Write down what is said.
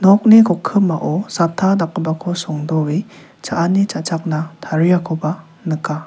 nokni kokkimao satta dakgipako songdoe cha·ani cha·chakna tariakoba nika.